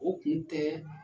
O kun tɛ